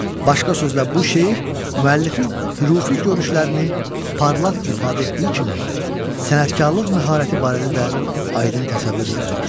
Başqa sözlə bu şeir müəllifin hürifi görüşlərini parlaq ifadə etdiyi kimi, sənətkarlıq məharəti barədə də aydın təsəvvür yaradır.